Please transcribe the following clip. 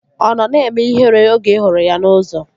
Ọ nọ na-eme ihere oge ị hụrụ ya n'ụzọ?